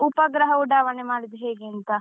ಉಪಗೃಹ ಉಡಾವಣೆ ಮಾಡುದು ಹೇಗೆ ಅಂತ.